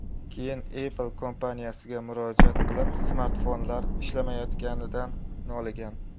Keyin Apple kompaniyasiga murojaat qilib, smartfonlar ishlamayotganidan noligan.